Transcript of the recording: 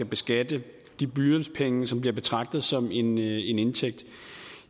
beskatte de blyantspenge som bliver betragtet som en indtægt